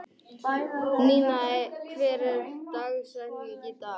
Ninna, hver er dagsetningin í dag?